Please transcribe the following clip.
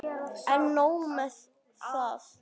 En nóg með það.